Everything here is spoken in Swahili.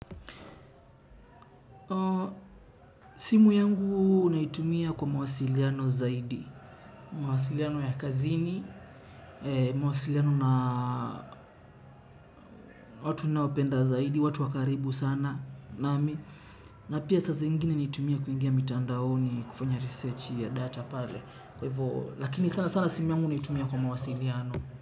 Simu yangu huwa naitumia kwa mawasiliano zaidi, mawasiliano ya kazini, mawasiliano na watu ninaopenda zaidi, watu wa karibu sana, na pia saa zingine nitumie kuingia mtandaoni kufanya research ya data pale kwa hivyo lakini sana sana simu yangu naitumia kwa mawasiliano.